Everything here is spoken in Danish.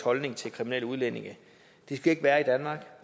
holdning til kriminelle udlændinge de skal ikke være i danmark